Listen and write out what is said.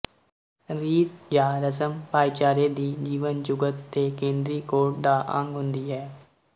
ਰੀਤ ਜਾਂ ਰਸਮ ਭਾਈਚਾਰੇ ਦੀ ਜੀਵਨ ਜੁਗਤ ਦੇ ਕੇਂਦਰੀ ਕੋਡ ਦਾ ਅੰਗ ਹੁੰਦੀ ਹੈ